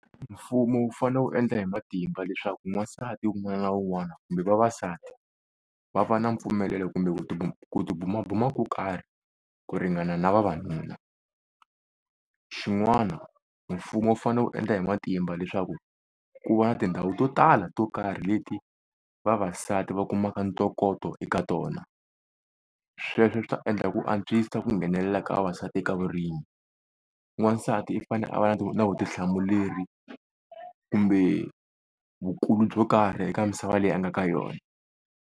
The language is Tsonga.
Mfumo wu fanele wu endla hi matimba leswaku n'wansati wun'wana na wun'wana, kumbe vavasati va va na mpfumelelo kumbe ku tibumabuma ko karhi ku ringana na vavanuna. Xin'wana mfumo wu fane wu endla hi matimba leswaku ku va na tindhawu to tala to karhi leti vavasati va kumaka ntokoto ka tona. Sweswo swi ta endla ku antswisa ku nghenelela ka vavasati eka vurimi, n'wansati i fanele a va na vutihlamuleri kumbe vukulu byo karhi eka misava leyi a nga ka yona.